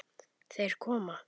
Þeir koma!